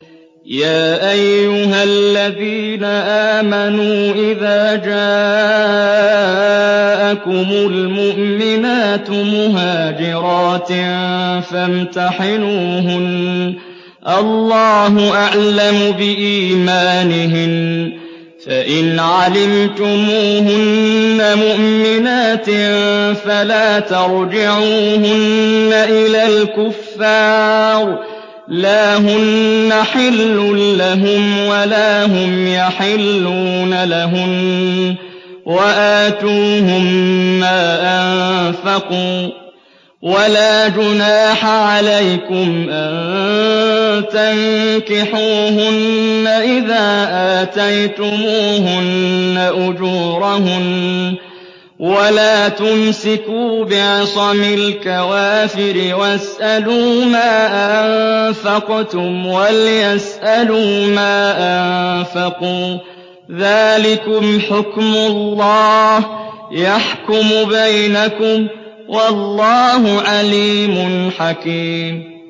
يَا أَيُّهَا الَّذِينَ آمَنُوا إِذَا جَاءَكُمُ الْمُؤْمِنَاتُ مُهَاجِرَاتٍ فَامْتَحِنُوهُنَّ ۖ اللَّهُ أَعْلَمُ بِإِيمَانِهِنَّ ۖ فَإِنْ عَلِمْتُمُوهُنَّ مُؤْمِنَاتٍ فَلَا تَرْجِعُوهُنَّ إِلَى الْكُفَّارِ ۖ لَا هُنَّ حِلٌّ لَّهُمْ وَلَا هُمْ يَحِلُّونَ لَهُنَّ ۖ وَآتُوهُم مَّا أَنفَقُوا ۚ وَلَا جُنَاحَ عَلَيْكُمْ أَن تَنكِحُوهُنَّ إِذَا آتَيْتُمُوهُنَّ أُجُورَهُنَّ ۚ وَلَا تُمْسِكُوا بِعِصَمِ الْكَوَافِرِ وَاسْأَلُوا مَا أَنفَقْتُمْ وَلْيَسْأَلُوا مَا أَنفَقُوا ۚ ذَٰلِكُمْ حُكْمُ اللَّهِ ۖ يَحْكُمُ بَيْنَكُمْ ۚ وَاللَّهُ عَلِيمٌ حَكِيمٌ